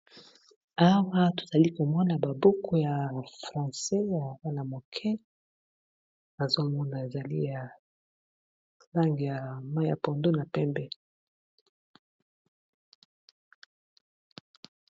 Awa tozali komona ba buku ya francais ya bana moke azomona ezali yalanga ma ya pondu na pembe.